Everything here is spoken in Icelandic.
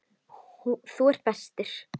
Þú ert bestur.